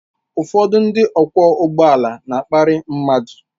Ụfọdụ ndị ọkwọ ụgbọala na-akparị mmadụ.